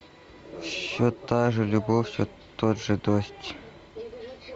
все та же любовь все тот же дождь